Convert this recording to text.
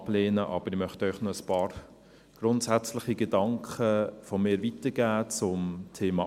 Ich möchte Ihnen aber zum Thema Armut noch ein paar grundsätzliche Gedanken von mir weitergeben.